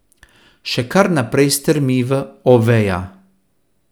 Še kar naprej strmi v Oveja.